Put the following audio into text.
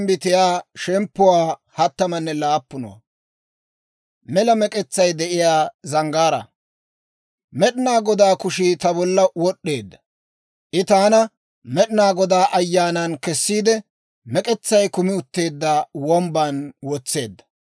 Med'inaa Godaa kushii ta bolla wod'd'eedda; I taana Med'inaa Godaa Ayyaanan kessiide, mek'etsay kumi utteedda wombban wotseedda.